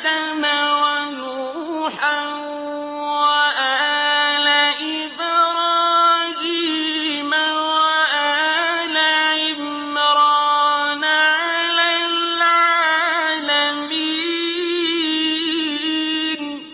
آدَمَ وَنُوحًا وَآلَ إِبْرَاهِيمَ وَآلَ عِمْرَانَ عَلَى الْعَالَمِينَ